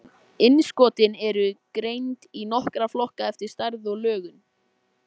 Hofdís, hversu margir dagar fram að næsta fríi?